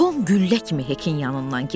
Tom güllə kimi Hekin yanından keçdi.